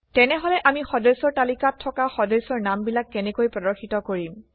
তেনেহলে আমি সদস্যৰ তালিকাত থকা সদস্যৰ নামবিলাক কেনেকৈ প্ৰদৰ্শিত কৰিম